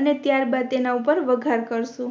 અને ત્યાર બાદ તેના ઉપર વઘાર કરશું